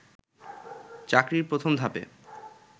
চাকরির প্রথম ধাপে